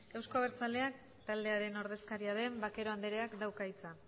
eusko abertzaleak taldearen ordezkaria den vaquero anderea dauka hitza